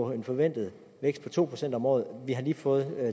en forventet vækst på to procent om året vi har lige fået